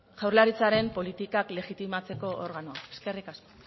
jaurlaritzaren politikak legitimatzeko organoa eskerrik asko